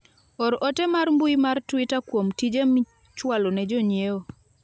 or ote mar mbui mar twita kuom tije michwalo ne jonyiewo